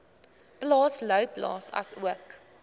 plaas louwplaas asook